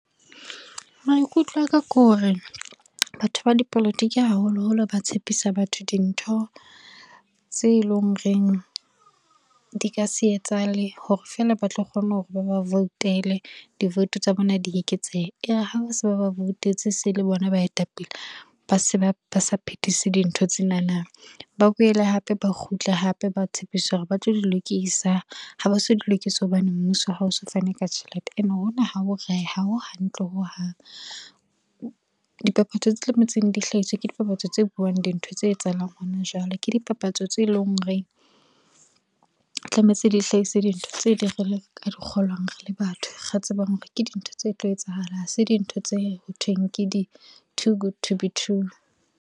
Maikutlo a ka ke hore, batho ba dipolotiki haholoholo ba tshepisa batho dintho tse leng o reng di ka se etsahale hore feela ba tlo kgona hore ba ba voutele divoutu tsa bona di eketsehe. E re ha se ba ba voutetse se le bona baetapele ba se ba sa phethise dintho tsena na, ba boele hape ba kgutle hape ba tshepisa hore ba tlo di lokisa ha ba so di lokise, hobane mmuso hao so fane ka tjhelete ene hona ha ho hantle ho hang. Dipapatso tse tlametseng di hlahiswe ke dipapatso tse buang dintho tse etsahalang hona jwale, ke dipapatso tse leng horeng, tlametse di hlahise dintho tse ding re le ka di kgolwang re le batho re tsebang hore ke dintho tse tlo etsahalang. Ha se dintho tse ho thweng ke di too good to be true.